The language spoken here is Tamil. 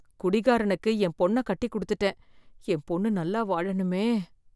குடிகாரனுக்கு என் பொண்ணை கட்டி குடுத்திட்டேன், என் பொண்ணு நல்லா வாழனுமே.